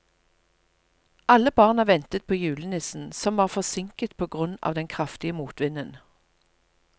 Alle barna ventet på julenissen, som var forsinket på grunn av den kraftige motvinden.